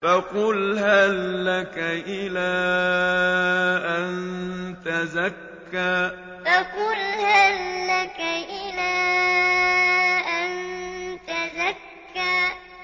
فَقُلْ هَل لَّكَ إِلَىٰ أَن تَزَكَّىٰ فَقُلْ هَل لَّكَ إِلَىٰ أَن تَزَكَّىٰ